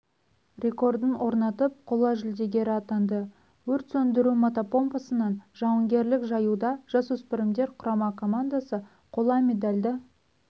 рекордын орнатып қола жүлдегері атанды өрт сөндіру мотопомпасынан жауынгерлік жаюда жасөспірімдер құрама командасы қола медальді